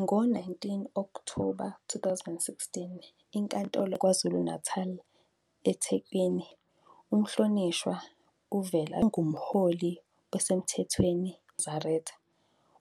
Ngo-18 Okthoba 2016, iNkantolo Ephakeme yaKwaZulu-Natal eThekwini yamemezela ukuthi umhlonishwa uVela Shembe ungumholi osemthethweni webandla lamaNazaretha